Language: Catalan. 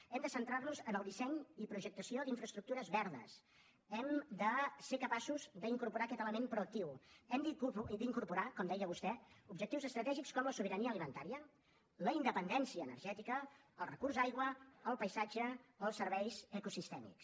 hem de centrarnos en el disseny i projectació d’infraestructures verdes hem de ser capaços d’incorporar aquest element proactiu hem d’incorporar com deia vostè objectius estratègics com la sobirania alimentària la independència energètica el recurs aigua el paisatge els serveis ecosistèmics